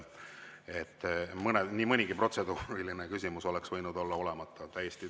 Nii mõnigi protseduuriline küsimus oleks võinud olla olemata.